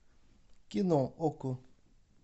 кино окко